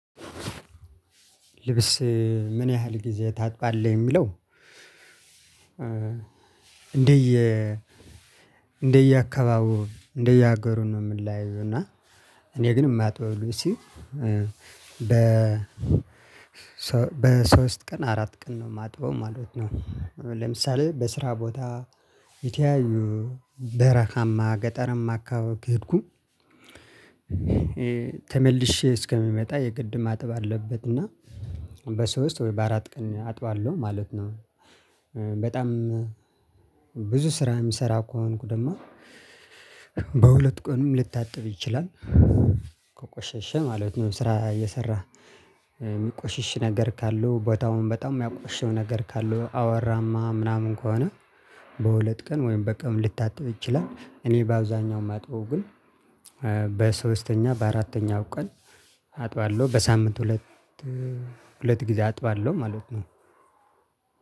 ልብስ ምን ያህል ጊዜ ታጥባለህ የሚለው? እንደየ እንደየ አካባቢው እንደየ አገሩ ነው ሚለያየው። እና እኔ ግን የማጥበው ልብሴን እ በ በሶስት ቀን አራት ቀን ነው ማጥበው ማለት ነው። ለምሳሌ በስራ ቦታ የተለያዩ በረሃማ ገጠራማ አከባቢ ከሄድኩ እ ተመልሼ እስከምመጣ የግድ ማጠብ አለበት። እና በሶስት ወይ በአራት ቀን አጥባለሁ ማለት ነው። እ በጣም ብዙ ስራ የምሰራ ከሆንኩ ደግሞ በሁለት ቀንም ሊታጠብ ይችላል። ከቆሸሸ ማለት ነው። ስራ እየሰራህ እ የሚቆሽሽ ነገር ካለው ቦታውን በጣም የሚያቆሽሸው ነገር ካለው አቧራማ ምናምን ከሆነ። በሁለት ቀን ወይም በቀን ሊታጥብ ይችላል። እኔ በአብዛኛው የማጥበው ግን በሶስተኛ በአራተኛው ቀን አጥባለሁ በሳምንት ሁለት እ ሁለት ጊዜ አጥባለሁ ማለት ነው።